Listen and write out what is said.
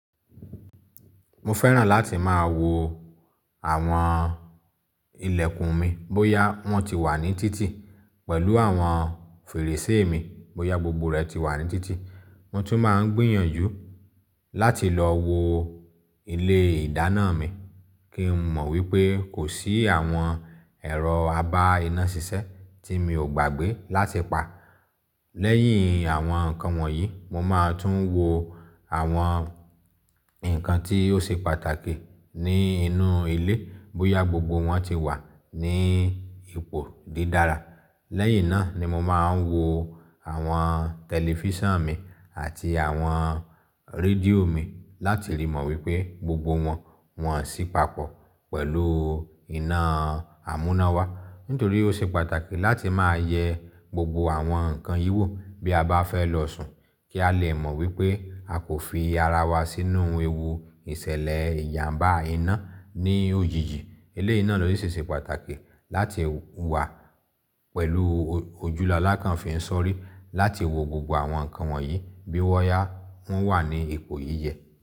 Mo fẹ́ràn láti máa wo àwọn ilẹ̀kùn mi bóyá wọ́n ti wà ní títì pẹ̀lú àwọn fèrèsé mi, bóyá gbogbo rẹ̀ ti wà ní títì. Mo tún máa ń gbìyànjú láti lọ wo ilé ìdáná mi kí n mọ̀ wípé kò sí àwọn ẹ̀rọ abá iná ṣiṣẹ́ tí mi ò gbàgbé láti pa. Lẹ́yìn àwọn nǹkan wọ̀nyí, mo máa tún wo àwọn nǹkan tí ó ṣe pàtàkì ni inú ilé bóyá gbogbo wọn ti wà ní ipò dídára. Lẹ́yìn náà ni mo máa ń wo àwọn tẹlifíṣàn mi àti àwọn rédíò mi láti rí mọ̀ wípé gbogbo wọn wọ́n sì papọ̀ pẹ̀lú iná àmúná wa. Nítorí ó ṣe pàtàkì láti máa yẹ gbogbo àwọn nǹkan yíwò bí a bá fẹ́ lọ sùn kí a lè mọ̀ wípé a kò fi ara wa sínú ewu ìṣẹ̀lẹ̀ ìyàmbá iná ní òjijì. Èléyìí ìná ló ṣe pàtàkì láti wà pẹ̀lú ojúlálákàn fi ń sọrí láti wo gbogbo àwọn nǹkan wọ̀nyí bí wọ́n yá wọ́n wà ní ipò yíyẹ.